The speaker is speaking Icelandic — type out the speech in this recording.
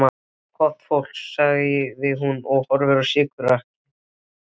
Gott fólk, sagði hún og horfði á sykurkarið.